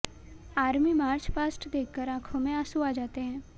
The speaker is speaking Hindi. आर्मी मार्च पास्ट देखकर आंखों में आंसू आ जाते हैं